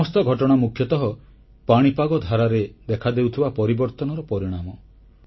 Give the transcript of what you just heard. ଏ ସମସ୍ତ ଘଟଣା ମୁଖ୍ୟତଃ ପାଣିପାଗ ଧାରାରେ ଦେଖାଦେଉଥିବା ପରିବର୍ତ୍ତନର ପରିଣାମ